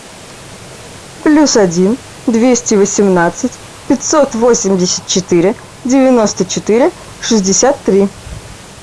плюс один двести восемнадцать пятьсот восемьдесят четыре девяносто четыре шестьдесят три